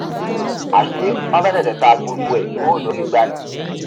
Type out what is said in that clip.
àṣé wọn fẹ tètè ta gbogbo ẹ kúrò lórí igbá ni